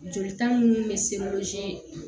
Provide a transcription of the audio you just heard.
Jolita minnu bɛ se